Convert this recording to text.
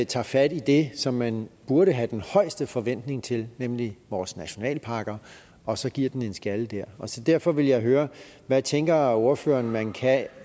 tager fat i det som man burde have den højeste forventning til nemlig vores nationalparker og så giver den en skalle der så derfor vil jeg høre hvad tænker ordføreren man kan